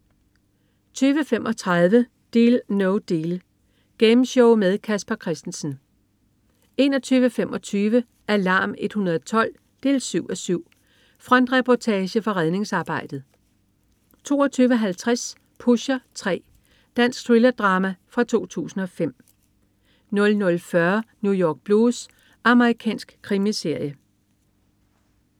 20.35 Deal No Deal. Gameshow med Casper Christensen 21.25 Alarm 112 7:7. Frontreportage fra redningsarbejdet 22.50 Pusher 3. Dansk thriller-drama fra 2005 00.40 New York Blues. Amerikansk krimiserie